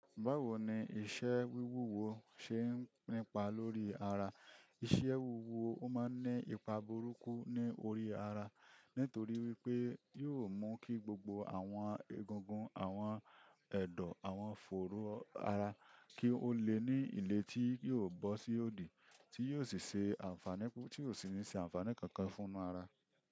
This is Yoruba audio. Báwo ni iṣẹ́ wíwúwo ṣe ń nípa lórí ara? Iṣẹ́ wíwúwo ó máa ń ní ipa burúkú ní orí ara, nítorí wípé yóò mú kí gbogbo àwọn egungun, àwọn ẹ̀dọ̀, àwọn fòru ara kí ó le ní ìlé tí yóò bọ́ sí òdì, tí yóò sì ṣe àǹfààní tí ò sí ní ṣe àǹfààní kankan fúnu ara.